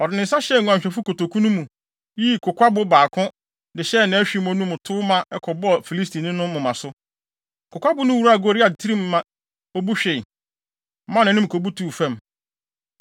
Ɔde ne nsa hyɛɛ nguanhwɛfo kotoku no mu, yii kokwabo baako de hyɛɛ nʼahwimmo no mu tow ma ɛkɔbɔɔ Filistini no moma so. Kokwabo no wuraa Goliat tirim ma obu hwee, maa nʼanim kobutuw fam.